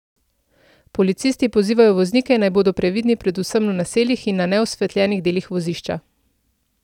Policisti pozivajo voznike, naj bodo previdni predvsem v naseljih in na neosvetljenih delih vozišča.